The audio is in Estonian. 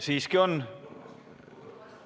Siiski on küsimusi.